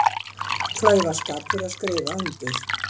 Klaufaskapur að skrifa undir